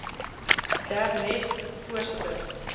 der nest voorsitter